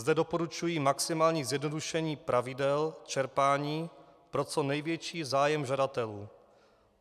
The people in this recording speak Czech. Zde doporučuji maximální zjednodušení pravidel čerpání pro co největší zájem žadatelů.